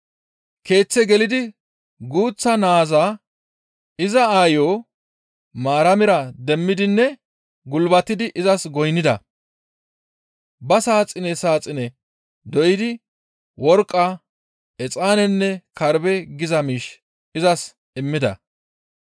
Keeththe gelidi guuththa naaza iza aayo Maaramira demmidinne gulbatidi izas goynnida; ba saaxine saaxine doydi worqqa, exaanenne karbbe geetettiza miish izas immida.